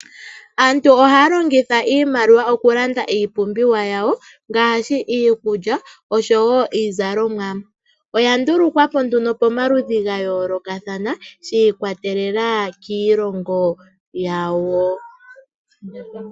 Aantu ohaa longitha iimaliwa okulanda iipumbiwa yawo, ngaashi iikulya niizalomwa. Oya ndulukwa po nduno pamaludhi ga yoolokathana, shi ikwatelela kiilongo yawo.